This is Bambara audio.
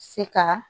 Se ka